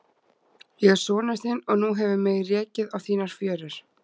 Ég er sonur þinn og nú hefur mig rekið á þínar fjörur.